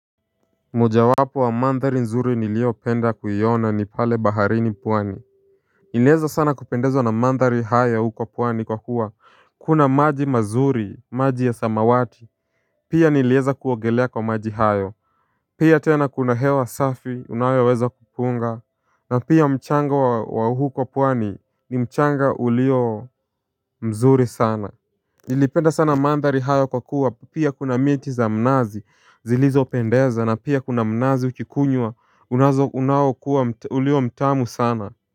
Mojawapo wa mandhari nzuri niliopenda kuiona ni pale baharini pwani nilieza sana kupendezwa na mandhari hayo huko pwani kwa kuwa kuna maji mazuri maji ya samawati Pia nilieza kuogelea kwa maji hayo Pia tena kuna hewa safi unayoweza kupunga na pia mchanga wa huko pwani ni mchanga ulio mzuri sana Nilipenda sana mandhari hayo kwa kuwa pia kuna miti za mnazi zilizopendeza na pia kuna mnazi ukikunywa unazo unao kuwa ulio mtamu sana.